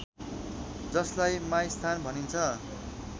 जसलाई माइस्थान भनिन्छ